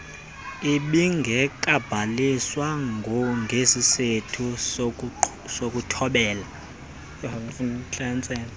ibingekabhaliswa ngesisathu sokuthobela